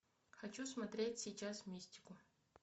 хочу смотреть сейчас мистику